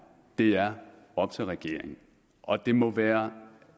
er op til regeringen og det må være